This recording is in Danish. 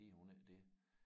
Hedder hun ikke det